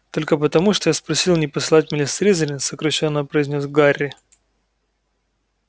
только потому что я спросил не послать меня в слизерин сокращённо произнёс гарри